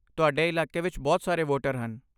ਤੁਹਾਡੇ ਇਲਾਕੇ ਵਿੱਚ ਬਹੁਤ ਸਾਰੇ ਵੋਟਰ ਹਨ।